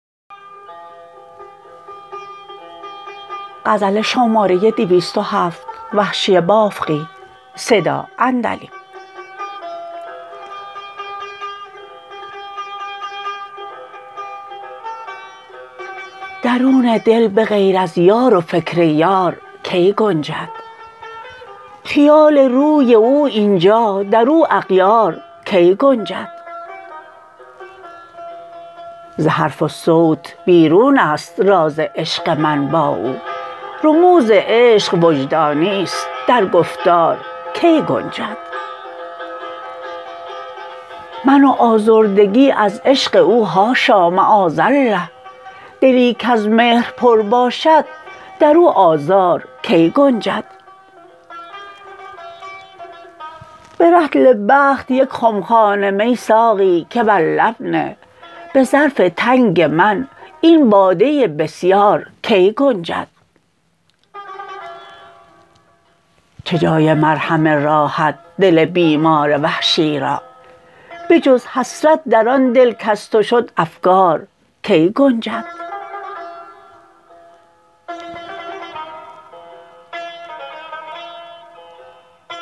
درون دل به غیر از یار و فکر یار کی گنجد خیال روی او اینجا در او اغیار کی گنجد ز حرف و صوت بیرونست راز عشق من با او رموز عشق وجدانیست در گفتار کی گنجد من و آزردگی از عشق او حاشا معاذلله دلی کز مهر پر باشد در او آزار کی گنجد به رطل بخت یک خمخانه می ساقی که بر لب نه به ظرف تنگ من این باده بسیار کی گنجد چه جای مرهم راحت دل بیمار وحشی را بجز حسرت در آن دل کز تو شد افگار کی گنجد